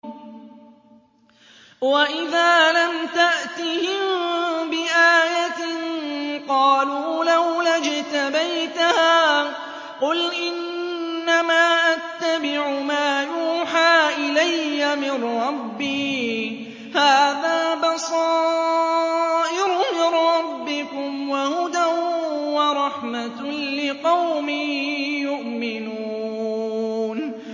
وَإِذَا لَمْ تَأْتِهِم بِآيَةٍ قَالُوا لَوْلَا اجْتَبَيْتَهَا ۚ قُلْ إِنَّمَا أَتَّبِعُ مَا يُوحَىٰ إِلَيَّ مِن رَّبِّي ۚ هَٰذَا بَصَائِرُ مِن رَّبِّكُمْ وَهُدًى وَرَحْمَةٌ لِّقَوْمٍ يُؤْمِنُونَ